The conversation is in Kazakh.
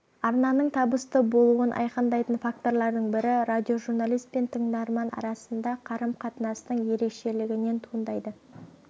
арнаның табысты болуын айқындайтын факторлардың бірі радиожурналист пен тыңдарман арасындағы карым-қатынастың ерекшелігінен туындайды